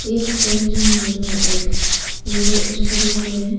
ये फोटो में जैसा दिखाई दे रहे हैं।